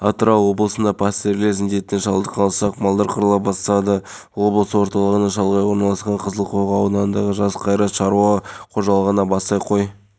киім аяқ киім мектеп құралдарын сатып алды барлығы жуық балаға көмек көрсетілді жалпы зауыт қызметкерлері